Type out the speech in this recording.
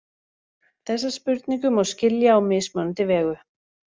Þessa spurningu má skilja á mismunandi vegu.